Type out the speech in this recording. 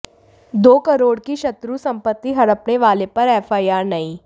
दो करोड़ की शत्रु संपत्ति हड़पने वाले पर एफआईआर नहीं